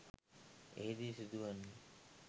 එහි දී සිදු වන්නේ